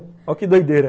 Ó que doideira.